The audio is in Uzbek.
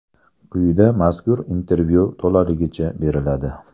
Quyida mazkur intervyu to‘laligicha beriladi.